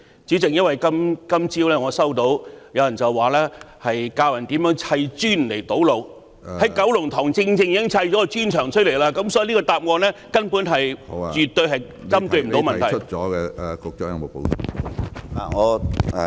主席，我今早收到有人教人如何砌磚堵路，而在九龍塘正正砌了一幅磚牆，所以這個答案絕對未能針對問題。